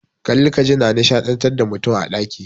Kalli ka ji na nishadantar da mutum a ɗaki.